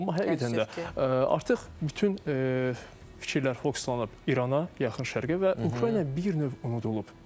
Amma həqiqətən də artıq bütün fikirlər fokuslanıb İrana, yaxın şərqə və Ukrayna bir növ unudulub.